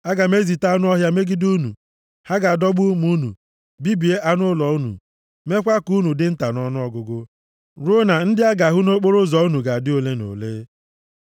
Aga m ezite anụ ọhịa megide unu. Ha ga-adọgbu ụmụ unu, bibie anụ ụlọ unu, meekwa ka unu dị nta nʼọnụọgụgụ, ruo na ndị a ga-ahụ nʼokporoụzọ unu ga-adị ole na ole.